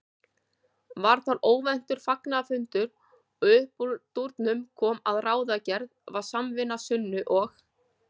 Varð þar óvæntur fagnaðarfundur og uppúr dúrnum kom að ráðgerð var samvinna Sunnu og